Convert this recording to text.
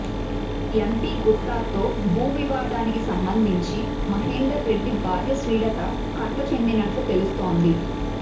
MP గుత్తాతో భూ వివాదానికి సంబంధించి మహేందర్ రెడ్డి భార్య శ్రీలత కలత చెందినట్లు తెలుస్తోంది